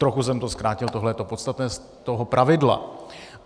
Trochu jsem to zkrátil, tohle je to podstatné z toho pravidla.